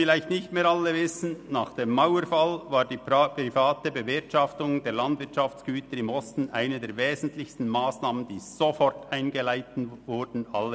Nach dem Mauerfall war die private Bewirtschaftung der Landwirtschaftsgüter im Osten eine der wesentlichsten Massnahmen, die sofort eingeleitet wurden, woran sich vielleicht nicht mehr alle erinnern.